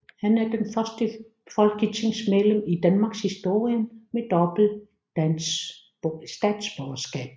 Han er det første folketingsmedlem i Danmarkshistorien med dobbelt statsborgerskab